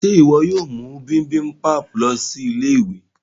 Ṣe iwọ yóò mú bibimpap lọ sí Ilé-ìwé?